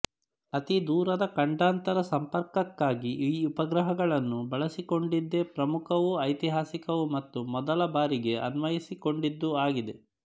ಅತಿದೂರದ ಖಂಡಾಂತರ ಸಂಪರ್ಕಕ್ಕಾಗಿ ಈ ಉಪಗ್ರಹಗಳನ್ನು ಬಳಸಿಕೊಂಡಿದ್ದೇ ಪ್ರಮುಖವೂ ಐತಿಹಾಸಿಕವೂ ಮತ್ತು ಮೊದಲ ಬಾರಿಗೆ ಅನ್ವಯಿಸಿಕೊಂಡಿದ್ದೂ ಆಗಿದೆ